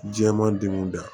Jɛman degun da